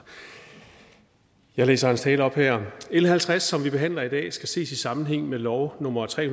jeg læser hans tale op her l halvtreds som vi behandler i dag skal ses i sammenhæng med lov nummer tre